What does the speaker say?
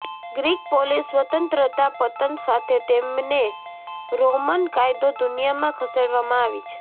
Greek polis સ્વતંત્રતા પતન સાથે તેમણે રોમન કાયદો દુનિયામાં ખસેડવામાં આવી છે